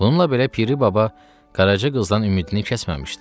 Bununla belə Piri Baba Qaraça qızdan ümidini kəsməmişdi.